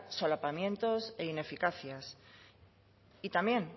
solapamientos e ineficacia y también